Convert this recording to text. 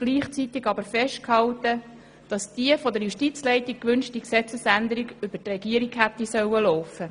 Gleichzeitig hielt sie jedoch fest, dass diese von der Justizleitung gewünschte Gesetzesänderung über die Regierung hätte laufen sollen.